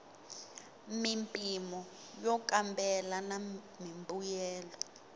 mimpimo yo kambela na mimbuyelo